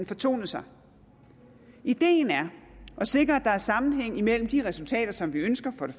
fortonet sig ideen er at sikre at der er sammenhæng mellem de resultater som vi ønsker for det